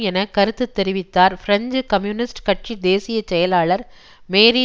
என கருத்து தெரிவித்தார் பிரெஞ்சு கம்யூனிஸ்ட் கட்சி தேசிய செயலாளர் மேரி